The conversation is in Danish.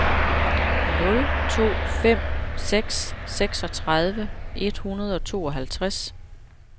nul to fem seks seksogtredive et hundrede og tooghalvtreds